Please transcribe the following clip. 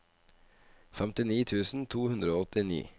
femtini tusen to hundre og åttini